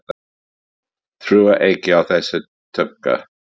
Trúi ekki á þessa tuggu.